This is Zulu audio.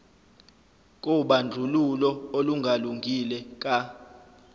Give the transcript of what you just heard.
kobandlululo olungalungile ka